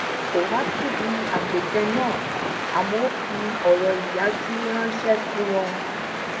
kò wá síbi àpèjẹ náà àmó ó fi òrò iyaju ránṣé sí wọn